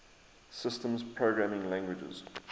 systems programming languages